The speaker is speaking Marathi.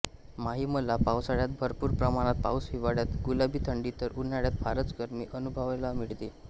माहीमला पावसाळ्यात भरपूर प्रमाणात पाऊस हिवाळ्यात गुलाबी थंडी तर उन्हाळ्यात फारच गरमी अनुभवायला मिळते